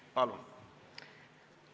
Palun!